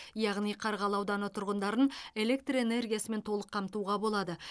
яғни қарғалы ауданы тұрғындарын электр энергиясымен толық қамтуға болады